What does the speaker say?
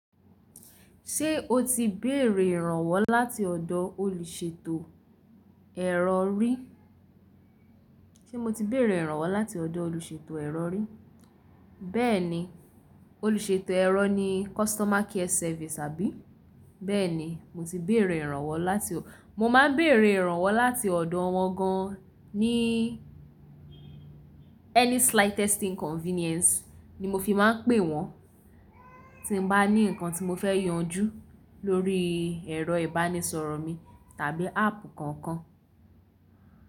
Ṣé o ti béèrè ìrànwọ́ láti ọ̀dọ̀ olùṣètò ẹ̀rọ rí? Ṣé mo ti béèrè ìrànwọ́ láti ọ̀dọ̀ olùṣètò ẹ̀rọ rí? Bẹ́ẹ̀ni, olùṣètò ẹ̀rọ ni customer care service àbí? Bẹ́ẹ̀ni, mo ti béèrè ìrànwọ́ láti mo má a ń béèrè ìrànwọ́ láti ọ̀dọ̀ wọn gan an ní any slightest inconvenience ni mo fi máa ń pè wọ́n, tí n bá ní nǹkan tí mo fẹ́ yanjú lórí ẹ̀rọ ìbánisọ̀rọ̀ mi tàbí áàpù kọ̀ọ̀kan.